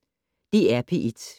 DR P1